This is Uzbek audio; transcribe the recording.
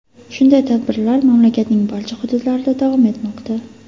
Shunday tadbirlar mamlakatning barcha hududlarida davom etmoqda.